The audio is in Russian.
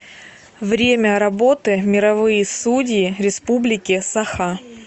время работы мировые судьи республики саха